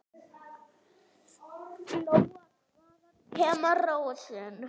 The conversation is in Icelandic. Lóa: Hvaðan kemur rósin?